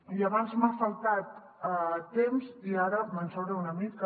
i abans m’ha faltat temps i ara me’n sobra una mica